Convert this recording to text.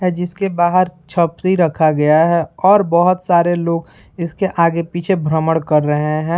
अ जिसके बाहर छपरी रखा गया है और बहुत सारे लोग इसके आगे-पीछे भ्रमण कर रहें हैं।